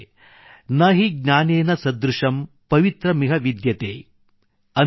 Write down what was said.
ನ ಹೀ ಜ್ಞಾನೇನ ಸದೃಶಂ ಪವಿತ್ರ ಮಿಹ ವಿದ್ಯತೇ न हि ज्ञानेन सदृशं पवित्रमिह विद्यते